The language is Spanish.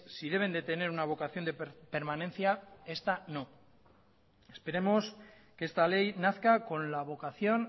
si deben de tener una vocación de permanencia esta no esperemos que esta ley nazca con la vocación